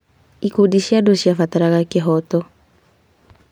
Ikundi cia andũ ciabataraga kĩhooto.